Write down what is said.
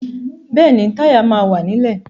Bẹ́ẹ̀ni, Táyà náà wà nílẹ̀